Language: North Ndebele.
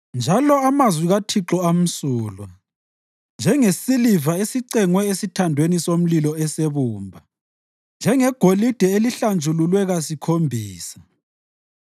Njalo amazwi kaThixo amsulwa, njengesiliva esicengwe esithandweni somlilo esebumba, njengegolide elihlanjululwe kasikhombisa.